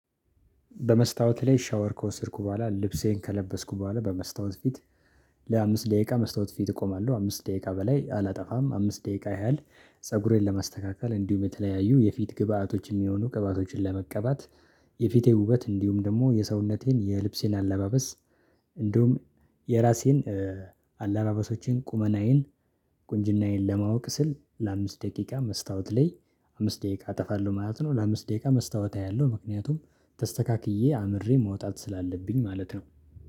በመስታወት ላይ ሻወር ከወሰድኩ በኋላ ልብሴን ከለበስኩ በኋላ በመስታወት ፊት ለአምስት ደቂቃ መስታወት ፊት እቆማለሁ አምስት ደቂቃ በላይ አላጠፋም አምስት ደቂቃ ያህል ፀጉሬን ለማስተካከል እንዲሁም በተለያዩ የፊት ግብአቶችን የሚሆኑ ቅባቶችን ለመቀባት። የፊቴ ውበት እንዲሁም ደግሞ የሰውነቴን የልብሴን አለባበስ እንዲሁም የራሴን ቁመናዬን ቁንጅናዬን ለማወቅ ስል ለአምስት ደቂቃ መስታወት ላይ አምስት ደቂቃ አጠፋለሁ ማለት ነው። ለአምስት ደቂቃ መስታወት አያለሁ ምክንያቱም ተስተካክዬ አምሬ መውጣት ስላለብኝ ማለት ነው